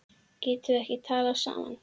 Getum við ekki talað saman?